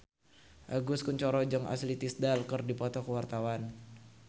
Agus Kuncoro jeung Ashley Tisdale keur dipoto ku wartawan